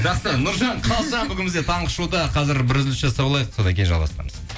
жақсы нұржан қалжан бүгін бізде таңғы шоуда қазір бір үзіліс жасап алайық содан кейін жалғастырамыз